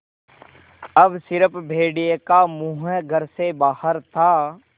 अब स़िर्फ भेड़िए का मुँह घर से बाहर था